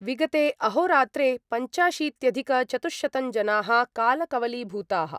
विगते अहोरात्रे पञ्चाशीत्यधिकचतुश्शतं जनाः कालकवलीभूताः।